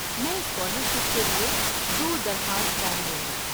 میں اسکالرشپ کے لیے دو درخواست فارم لوں گا۔